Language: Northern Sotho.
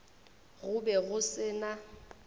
go be go se na